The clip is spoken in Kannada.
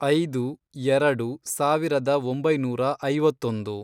ಐದು, ಎರೆಡು, ಸಾವಿರದ ಒಂಬೈನೂರ ಐವತ್ತೊಂದು